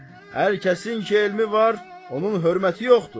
Hər kəsin ki elmi var, onun hörməti yoxdur.